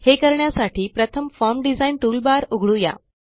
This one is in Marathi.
हे करण्यासाठी प्रथम फॉर्म डिझाइन टूलबार उघडू या